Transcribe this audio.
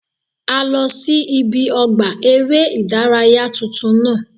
A lọ sí ibi ọgbà eré ìdárayá tuntun náà